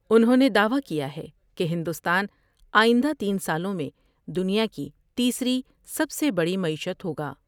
انھوں نے دعوی کیا ہے کہ ہندوستان آئندہ تین سالوں میں دنیا کی تیسری سب سے بڑی معیشت ہوگا ۔